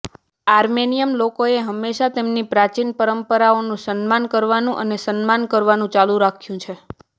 Armenian લોકોએ હંમેશા તેમની પ્રાચીન પરંપરાઓનું સન્માન કરવાનું અને સન્માન કરવાનું ચાલુ રાખ્યું છે